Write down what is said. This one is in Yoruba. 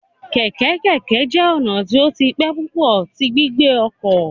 Keke keke jẹ ọna ti o ti pẹ pupọ ti gbigbe ọkọ